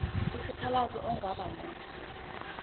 isikhalazo ongaba naso